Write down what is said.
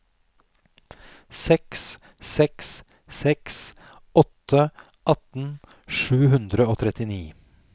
seks seks seks åtte atten sju hundre og trettini